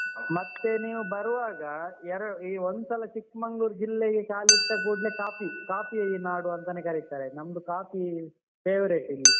ಮತ್ತೆ ನೀವು ಬರುವಾಗ ಎರಡ್ ಈ ಒಂದ್ಸಲ ಚಿಕ್ಮಂಗ್ಳೂರ್ ಜಿಲ್ಲೆಗೆ ಕಾಲಿಟ್ಟ ಕೂಡ್ಲೆ ಕಾಫೀ ಕಾಫೀನಾಡು ಅಂತಾನೆ ಕರಿತಾರೆ ನಮ್ದು ಕಾಫೀ favourite ಇಲ್ಲಿ.